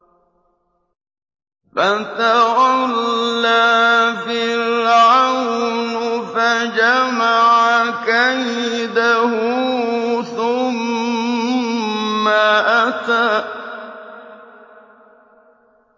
فَتَوَلَّىٰ فِرْعَوْنُ فَجَمَعَ كَيْدَهُ ثُمَّ أَتَىٰ